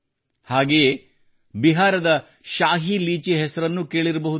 ಹಾಗೆಯೇ ಬಿಹಾರದ ಶಾಹಿ ಲೀಚಿ ಹೆಸರನ್ನೂ ಕೇಳಿರಬಹುದು